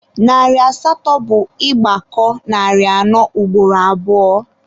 Narị asatọ bụ ị gbakọọ narị anọ ugboro abụọ.